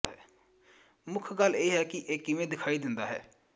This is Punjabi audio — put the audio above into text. ਮੁੱਖ ਗੱਲ ਇਹ ਹੈ ਕਿ ਇਹ ਕਿਵੇਂ ਦਿਖਾਈ ਦਿੰਦਾ ਹੈ